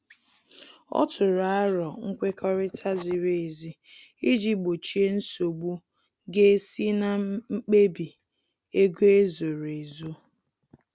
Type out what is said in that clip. Ọ tụrụ arọ nkwekọrịta ziri ezi iji gbochie nsogbu ga esi na mkpebi ego ezoro ezo